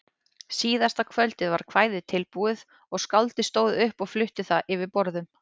Síðasta kvöldið var kvæðið tilbúið og skáldið stóð upp og flutti það yfir borðum.